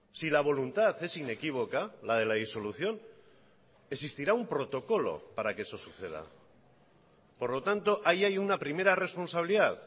si la voluntad es inequívoca la de la disolución existirá un protocolo para que eso suceda por lo tanto ahí hay una primera responsabilidad